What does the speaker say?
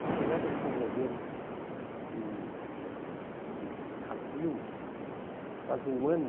O Sodré deixou o governo em acho que abril, faz um ano.